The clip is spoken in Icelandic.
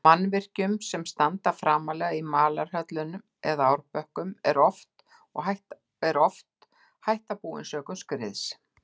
Mannvirkjum sem standa framarlega á malarhjöllum eða árbökkum, er og oft hætta búin sökum skriðs.